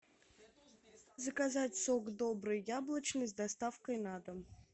заказать сок добрый яблочный с доставкой на дом